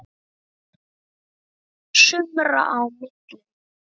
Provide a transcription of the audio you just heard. sumra á millum.